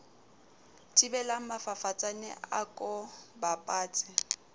thibelang mafafatsane a ko bapatse